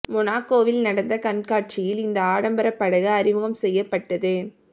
மொனாகோவில் நடந்த கண்காட்சியில் இந்த ஆடம்பர படகு அறிமுகம் செய்யப்பட்டது